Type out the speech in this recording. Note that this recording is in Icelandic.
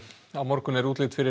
á morgun er útlit fyrir